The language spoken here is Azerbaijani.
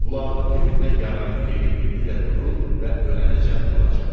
Qulağının dibində yaranın yeri indi də durur və ölənəcən duracaq.